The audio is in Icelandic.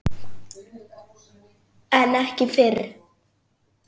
En ekki fyrr.